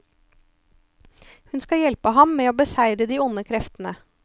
Hun skal hjelpe ham med å beseire de onde kreftene.